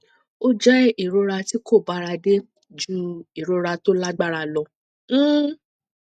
ó jẹ ìrora tí kò bára dé ju ìrora tó lágbára lọ um